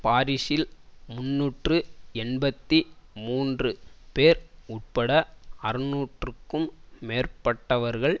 பாரிசில் முன்னூற்று எண்பத்தி மூன்று பேர் உட்பட அறுநூறுக்கும் மேற்பட்டவர்கள்